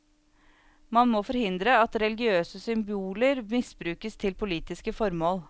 Man må forhindre at religiøse symboler misbrukes til politiske formål.